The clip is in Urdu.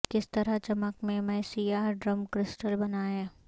کس طرح چمک میں میں سیاہ ڈرم کرسٹل بنائیں